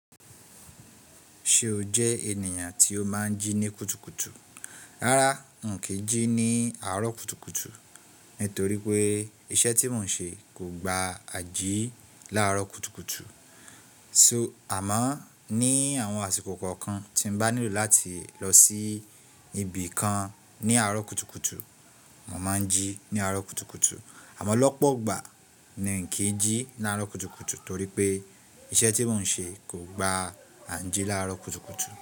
Ṣe o jẹ ènìyàn tí o máa ń jí ní kùtùkùtù? Rárá, n kí jí ní àárọ̀ kùtùkùtù nítorí pé iṣẹ́ tí mò ń ṣe kò gba à jí láàárọ̀ kùtùkùtù. So, àmọ́ ní àwọn àsìkò kọ̀ọ̀kan tí n bá nílò láti lọ sí ibì kan ní àárọ̀ kùtùkùtù, mò máa ń jí ní àárọ̀ kùtùkùtù. Àmọ́ lọ́pọ̀ ọgbà mi n kí jí láàárọ̀ kùtùkùtù torí pé iṣẹ́ tí mò ń ṣe kò gba à n jí láàárọ̀ kùtùkùtù.